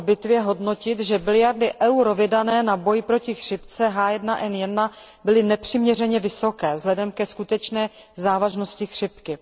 po bitvě hodnotit, že tisíce miliard eur vydané na boj proti chřipce H1N1 byly nepřiměřeně vysoké vzhledem ke skutečné závažnosti chřipky.